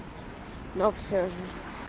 но всё же